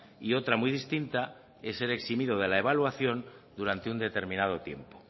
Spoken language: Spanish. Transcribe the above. y otra muy distinta es ser eximido de la evaluación durante un determinado tiempo